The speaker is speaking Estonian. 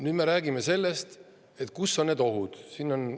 Nüüd me räägime sellest, kus need ohud on.